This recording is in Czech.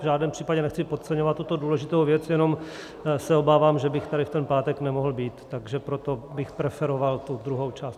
V žádném případě nechci podceňovat tuto důležitou věc, jenom se obávám, že bych tady v ten pátek nemohl být, takže proto bych preferovat tu druhou část.